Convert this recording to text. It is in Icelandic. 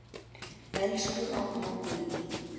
Elsku amma Dídí.